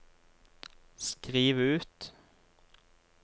skriv ut